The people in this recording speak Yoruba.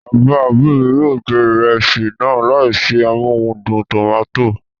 Bàbá òbí mi yóò jẹ ìrẹsì náà láìsí amóhudùn tòmátò